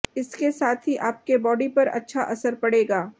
इसके साथ ही अपके बॉडी पर अच्छा असर पड़ेगा